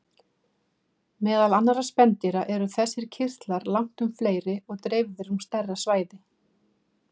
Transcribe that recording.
Meðal annarra spendýra eru þessir kirtlar langtum fleiri og dreifðir um stærra svæði.